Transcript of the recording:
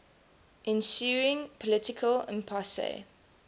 ensuing political impasse